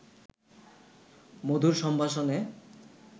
মধুর সম্ভাষণে